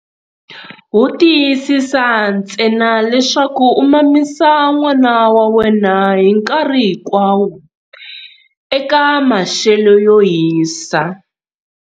Wo tiyisisa ntsena leswaku u mamisa n'wana wa wena hi nkarhi hinkwawo eka maxelo yo hisa.